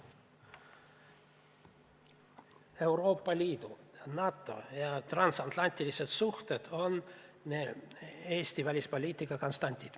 Euroopa Liidu, NATO ja transatlantilised suhted on Eesti välispoliitika konstandid.